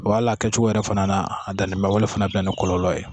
Wa hali a kɛcogo yɛrɛ fana a danni bɛ se ka bɛn ni kɔlɔlɔ ye